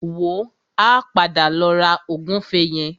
Wò ó, a padà lọ ra ògúnfe yẹn.